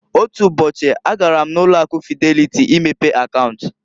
Otu ụbọchị a gara m na ụlo akụ Fideliti imepe akaunt.